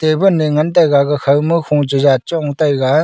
table e ngan taiga gaga khawma kho cheja chong taiga.